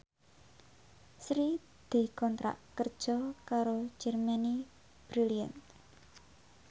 Sri dikontrak kerja karo Germany Brilliant